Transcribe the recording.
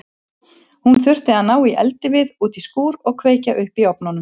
Hún þurfti að ná í eldivið út í skúr og kveikja upp í ofnunum.